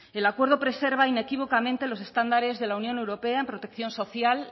el acuerdo preserva inequívocamente los estándares de la unión europea en protección social